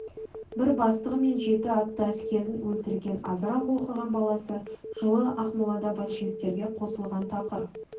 бір бастығы мен жеті атты әскерін өлтірген азырақ оқыған баласы жылы ақмолада большевиктерге қосылған тақыр